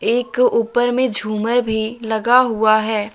एक ऊपर में झूमर भी लगा हुआ है।